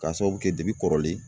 K'a sababu kɛ kɔrɔlen